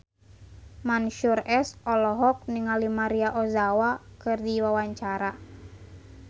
Mansyur S olohok ningali Maria Ozawa keur diwawancara